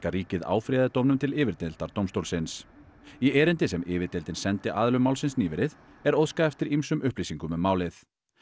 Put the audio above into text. ríkið áfrýjaði dóminum til dómstólsins í erindi sem sendi aðilum málsins nýverið er óskað eftir ýmsum upplýsingum um málið